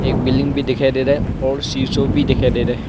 एक बिल्डिंग भी दिखाई दे रहा और सिसो भी दिखाई दे रहा--